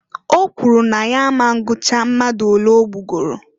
O kwuru na ya a ma ngụtacha mmadụ olee ogbugoro.